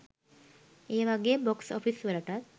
ඒවගේ box office වලටත්